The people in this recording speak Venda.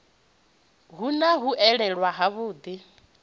hu na u elela havhuḓi